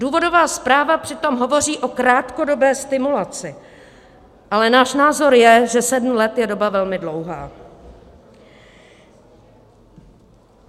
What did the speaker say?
Důvodová zpráva přitom hovoří o krátkodobé stimulaci, ale náš názor je, že sedm let je doba velmi dlouhá.